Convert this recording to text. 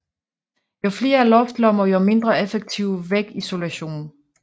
Jo flere luftlommer jo mindre effektiv vægisolation